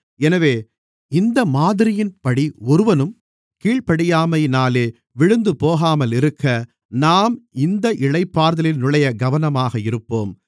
எனவே இந்த மாதிரியின்படி ஒருவனும் கீழ்ப்படியாமையினாலே விழுந்துபோகாமல் இருக்க நாம் இந்த இளைப்பாறுதலில் நுழைய கவனமாக இருப்போம்